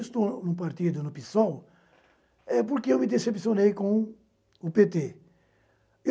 Eu estou num partido no PSOL, eh, porque eu me decepcionei com o pê tê.